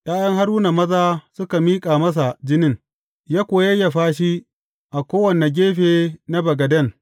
’Ya’yan Haruna maza suka miƙa masa jinin, ya kuwa yayyafa shi a kowane gefe na bagaden.